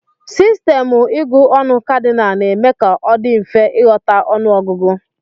Sistemụ ịgụ ọnụ Kadịnal na-eme ka ọ dị mfe ịghọta ọnụọgụgụ.